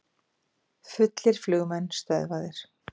Fullir flugmenn stöðvaðir